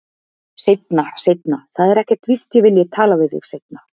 Seinna, seinna, það er ekkert víst að ég vilji tala við þig seinna.